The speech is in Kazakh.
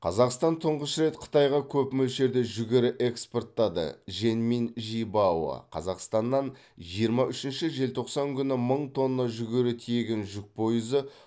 қазақстан тұңғыш рет қытайға көп мөлшерде жүгері экспорттады жэньминь жибао қазақстаннан жиырма үшінші желтоқсан күні мың тонна жүгері тиеген жүк пойызы